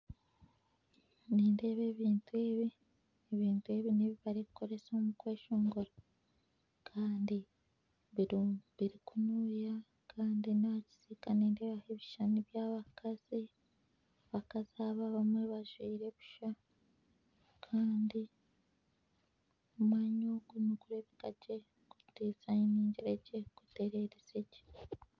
Nindeeba ebintu ebi, ebintu ebi nebi barikukoresa omu kweshongora Kandi biri kunuuya Kandi n'ahakisika nindebaho ebishushani by'abakazi , abakazi abo abamwe bajwire busha Kandi omwanya ogu nigurebeka gye gutererize gye.